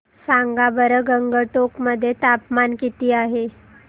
सांगा बरं गंगटोक मध्ये तापमान किती आहे